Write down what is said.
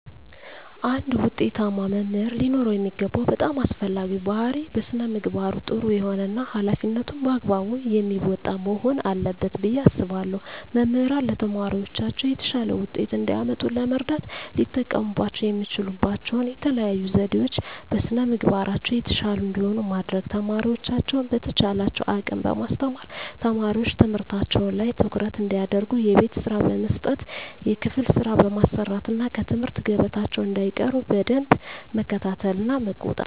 አንድ ውጤታማ መምህር ሊኖረው የሚገባው በጣም አስፈላጊው ባህሪይ በስነ ምግባሩ ጥሩ የሆነ እና ሀላፊነቱን በአግባቡ የሚወጣ መሆን አለበት ብየ አስባለሁ። መምህራን ለተማሪዎቻቸው የተሻለ ውጤት እንዲያመጡ ለመርዳት ሊጠቀሙባቸው የሚችሉባቸው የተለዩ ዘዴዎች - በስነ ምግባራቸው የተሻሉ እንዲሆኑ ማድረግ፣ ተማሪዎቻቸውን በተቻላቸው አቅም በማስተማር፣ ተማሪዎች ትምህርታቸው ላይ ትኩረት እንዲያደርጉ የቤት ስራ በመስጠት የክፍል ስራ በማሰራት እና ከትምህርት ገበታቸው እንዳይቀሩ በደንብ መከታተልና መቆጣጠር።